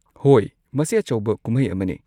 ꯍꯣꯏ, ꯃꯁꯤ ꯑꯆꯧꯕ ꯀꯨꯝꯍꯩ ꯑꯃꯅꯦ꯫